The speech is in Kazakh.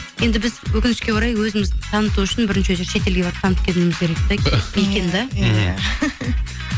енді біз өкінішке орай өзімізді таныту үшін бірінші очередь шетелге барып танытып келуіміз керек те екен де иә